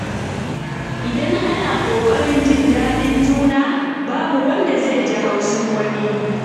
Idan ana ƙoƙarin jin daɗin juna, babu wanda zai ji haushin wani.